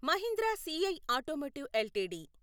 Mahindra CI automotive LTD